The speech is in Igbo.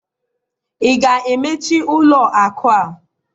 ị ga-emechi ụlọ akụ a?